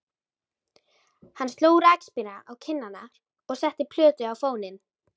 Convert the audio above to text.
Hann sló rakspíra á kinnarnar og setti plötu á fóninn.